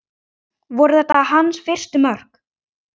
Voru þetta hans fyrstu mörk?